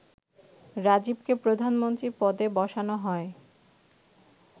রাজীবকে প্রধানমন্ত্রী পদে বসানো হয়